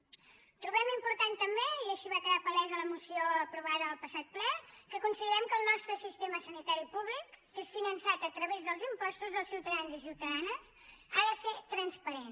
trobem important també i així va quedar palès a la moció aprovada al passat ple que considerem que el nostre sistema sanitari públic que és finançat a través dels impostos dels ciutadans i ciutadanes ha de ser transparent